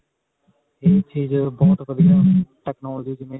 ਇਹ ਚੀਜ਼ ਅਅ ਬਹੁਤ ਵਧੀਆ technology ਜਿਵੇਂ